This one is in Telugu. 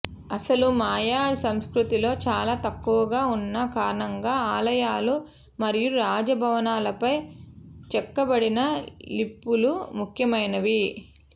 అసలు మయ సంస్కృతిలో చాలా తక్కువగా ఉన్న కారణంగా ఆలయాలు మరియు రాజభవనాలపై చెక్కబడిన లిపులు ముఖ్యమైనవి